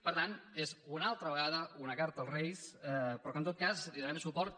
per tant és una altra vegada una carta als reis però que en tot cas hi donarem suport